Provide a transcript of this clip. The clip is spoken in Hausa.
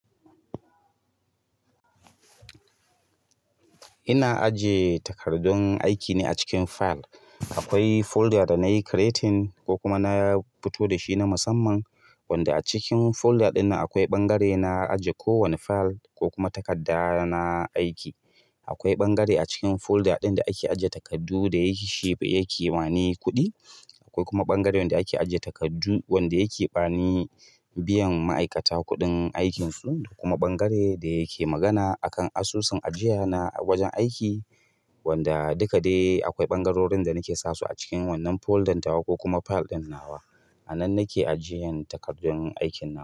Ina ajiye takardun aikine a cikin fayil. Akwai folder da nayi creating ko kuma na fito da shi na musamman wanda a cikin folder ɗin nan akwai ɓangare na ajiye ko wanne fayil ko kuma takarda na aiki. Akwai ɓangare a cikin folder ɗin da ake ajiye takardu da yake shape yake bani kuɗi. Akwai kuma bangare wanda ake ajiye takardu wanda yake bani biyan ma'aikata kuɗin aikinsu kuma bangare da yake magana akan asusun ajiya na a wajen aiki wanda duka dai akwai ɓangarorin da nake sasu a cikin wannan foldan ta wa ko kuma fayil ɗin na wa. A nan nake ajiyan takardun aikin na.